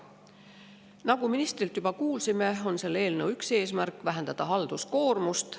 Nagu ministrilt juba kuulsime, on selle eelnõu üks eesmärk vähendada halduskoormust.